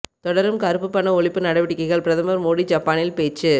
தொடரும் கருப்புப் பண ஒழிப்பு நடவடிக்கைகள் பிரதமர் மோடி ஜப்பானில் பேச்சு